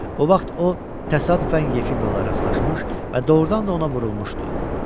O vaxt o təsadüfən Yefimova rastlaşmış və doğurdan da ona vurulmuşdu.